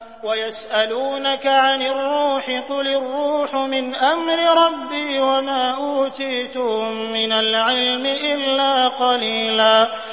وَيَسْأَلُونَكَ عَنِ الرُّوحِ ۖ قُلِ الرُّوحُ مِنْ أَمْرِ رَبِّي وَمَا أُوتِيتُم مِّنَ الْعِلْمِ إِلَّا قَلِيلًا